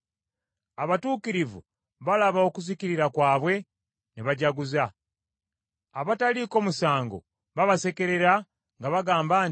Abatuukirivu balaba okuzikirira kwabwe ne bajaguza; abataliiko musango babasekerera nga bagamba nti,